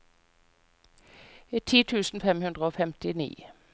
ti tusen fem hundre og femtini